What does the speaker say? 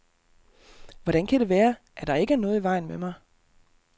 Hvordan kan det være, at der ikke er noget i vejen med mig?